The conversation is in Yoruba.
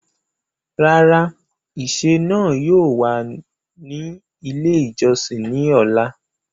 Rárà, ìṣẹ̀ náà yóò wà ní ilẹ̀ ìjọ̀ṣìn ni ọlá.